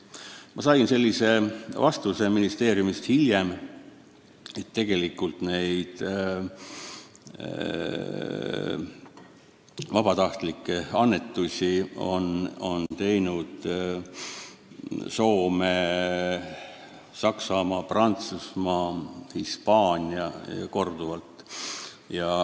Ma sain hiljem ministeeriumist vastuse, et vabatahtlikke annetusi on teinud Soome, Saksamaa, Prantsusmaa ja Hispaania, ning korduvalt.